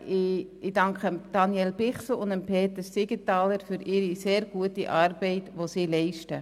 Ich danke Daniel Bichsel und Peter Siegenthaler für ihre sehr gute Arbeit, die sie leisten.